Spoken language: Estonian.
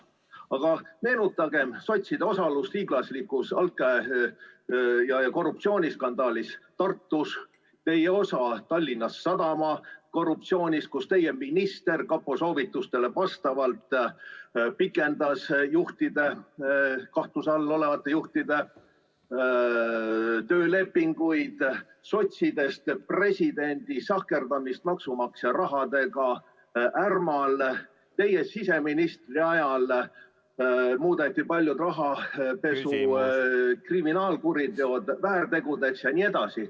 Aga meenutagem sotside osalust hiiglaslikus altkäemaksu‑ ja korruptsiooniskandaalis Tartus, teie osa Tallinna Sadama korruptsioonis, kus teie minister kapo soovitustele vastavalt pikendas kahtluse all olevate juhtide töölepinguid, sotsist presidendi sahkerdamist maksumaksja rahadega Ärmal, seda, et teie siseministri ajal muudeti paljud rahapesu kriminaalkuriteod väärtegudeks jne.